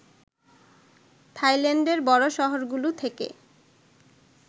থাইল্যান্ডের বড় শহরগুলো থেকে